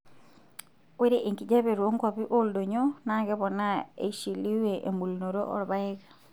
Ore enkijaape toonkwapii ooldonyio naa keponaa eisshiliwie embulunoto oorpaek.